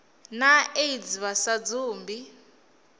na aids vha sa dzumbi